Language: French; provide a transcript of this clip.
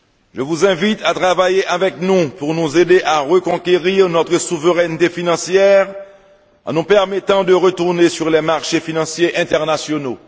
Je vous invite à travailler avec nous pour nous aider à reconquérir notre souveraineté financière en nous permettant de retourner sur les marchés financiers internationaux.